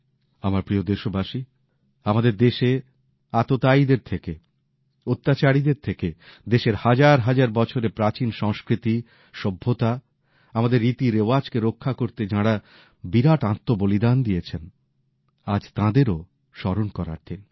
আমার প্রিয় দেশবাসী আমাদের দেশে আততায়ীদের থেকে অত্যাচারীদের থেকে দেশের হাজার হাজার বছরের প্রাচীন সংস্কৃতি সভ্যতা আমাদের রীতিরেওয়াজকে রক্ষা করতে যাঁরা বিরাট আত্মবলিদান দিয়েছেন আজ তাঁদেরও স্মরণ করার দিন